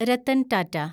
Ratan Tata